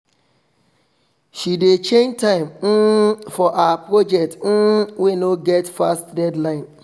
she dey change time um for her project um wey no get fast deadline